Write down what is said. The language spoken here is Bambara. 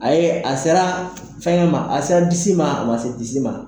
A ye a sera fɛngɛ ma a sera disi ma a ma se disi ma.